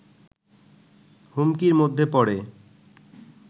হুমকির মধ্যে পড়ে